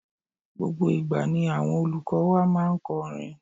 Gbogbo ìgbà ni àwọn olùkó wa máa n korin